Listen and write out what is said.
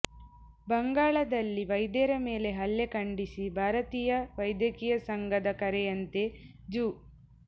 ಬಂಗಾಲ ದಲ್ಲಿ ವೈದ್ಯರ ಮೇಲೆ ಹಲ್ಲೆ ಖಂಡಿಸಿ ಭಾರತೀಯ ವೈದ್ಯಕೀಯ ಸಂಘದ ಕರೆಯಂತೆ ಜೂ